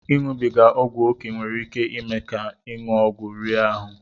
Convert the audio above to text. Ịṅụbiga ọgwụ ókè nwere iké ime ka ịṅụ ọgwụ rie ahụ